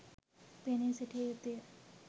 පෙනී සිටිය යුතුය.